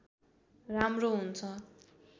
राम्रो हुन्छ